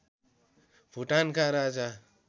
भुटानका राजा